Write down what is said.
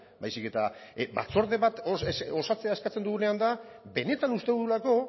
baizik eta batzorde bat osatzea eskatzen dugunean da benetan uste dugulako